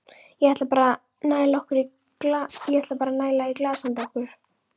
Ég ætla bara að næla í glas handa okkur.